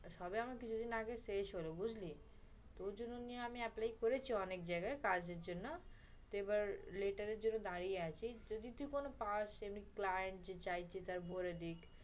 সবে আমার কিছুদিন আগে শেষ হলো, বুঝলি? ও জন্য আমি apply করেছি অনেক জায়গায় কাজে জন্য, এবার letter এর জন্য দাঁড়িয়ে আছি। যদি তুই কোনো pass এমনি client যে চায় যে ভরে দিক